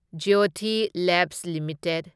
Jyothy labs limited